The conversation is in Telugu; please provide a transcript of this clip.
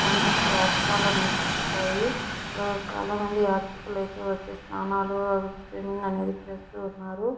పైనుంచి వాటర్ ఫాల్ లో నుంచి పడ్డాయి. ఇక్కడ చాలామంది యాత్రికలు అయితే వచ్చి స్నానాలు స్విమ్మింగ్ అనేది చేస్తూ ఉన్నారు.